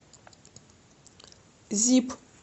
зип